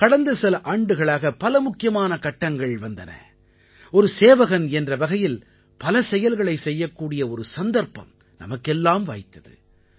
கடந்த சில ஆண்டுகளாக பல முக்கியமான கட்டங்கள் வந்தன ஒரு சேவகன் என்ற வகையில் பல செயல்களைச் செய்யக்கூடிய ஒரு சந்தர்ப்பம் நமக்கெல்லாம் வாய்த்தது